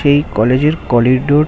সেই কলেজের কোরিডোর ।